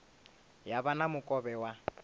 ya vha na mukovhe wa